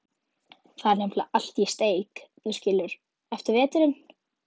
Þar er nefnilega allt í steik, þú skilur, eftir veturinn.